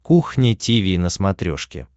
кухня тиви на смотрешке